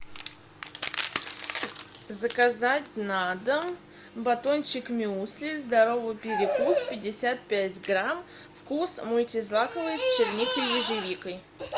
заказать на дом батончик мюсли здоровый перекус пятьдесят пять грамм вкус мультизлаковый с черникой и ежевикой